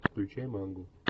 включай мангу